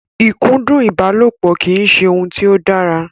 Ìkúndù ìbálòpọ̀ kì í ṣe ohun tí ó dára.